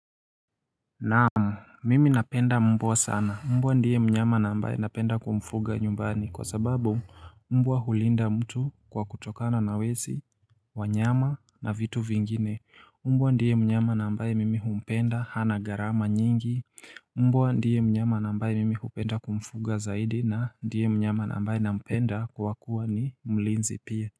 Naamu, mimi napenda mbwa sana, mbwa ndiye mnyama na mbaye napenda kumfuga nyumbani kwa sababu mbwa hulinda mtu kwa kutokana na wezi wanyama na vitu vingine Mbwa ndiye mnyama na mbaye mimi humpenda hana garama nyingi Mbwa ndiye mnyama na mbaye mimi hupenda kumfuga zaidi na ndiye mnyama na mbaye napenda kwa kuwa ni mlinzi pia.